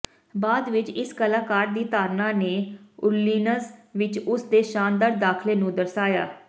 ਬਾਅਦ ਵਿਚ ਇਸ ਕਲਾਕਾਰ ਦੀ ਧਾਰਨਾ ਨੇ ਓਰਲੀਨਜ਼ ਵਿਚ ਉਸਦੇ ਸ਼ਾਨਦਾਰ ਦਾਖਲੇ ਨੂੰ ਦਰਸਾਇਆ